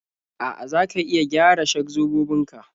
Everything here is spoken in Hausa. A'a, za ka iya gyara shak-zobobin ka